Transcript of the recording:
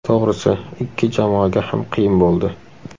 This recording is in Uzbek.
To‘g‘risi, ikki jamoaga ham qiyin bo‘ldi.